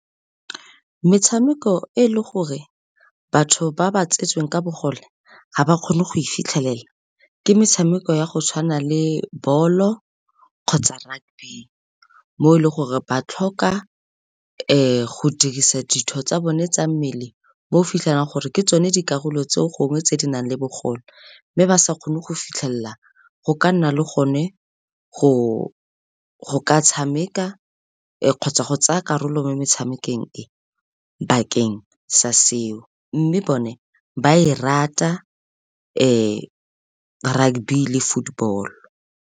Metshameko e le gore batho ba ba tsetsweng ka bogole ga ba kgone go e fitlhelela, ke metshameko ya go tshwana le ball-o kgotsa rugby, mo e leng gore ba tlhoka go dirisa ditho tsa bone tsa mmele, mo o fitlhelang gore ke tsone dikarolo tse gongwe tse di nang le bogole, mme ba sa kgone go fitlhelela go ka nna le gone go ka tshameka kgotsa go tsaya karolo mo metshamekong e bakeng sa seo, mme bone ba e rata rugby le football.